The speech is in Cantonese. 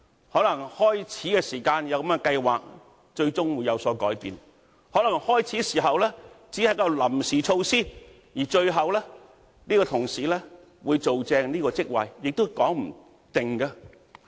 可能開始時有這樣的計劃，最終會有所改變；可能開始時只是一種臨時措施，而最後相關同事會擔任這個職位也說不定。